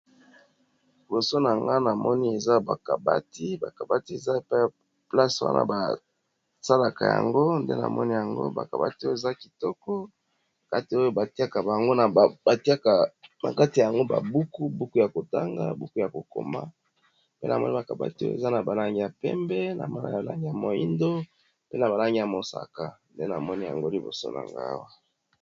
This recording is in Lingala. Liboso na nga, na moni eza bakabati. Ba kabati eza pe place wana basalaka yango. Nde na moni yango ba kabati oyo eza kitoko kati na yango, batiaka ba buku ya kotanga, buku ya kokoma pe. Na moni bakabati oyo eza na balangi ya pembe, na balangi ya moindo, pe na balangi ya mosaka. Nde na moni yango liboso na nga awa.